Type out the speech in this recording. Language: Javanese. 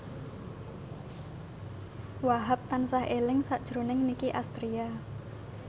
Wahhab tansah eling sakjroning Nicky Astria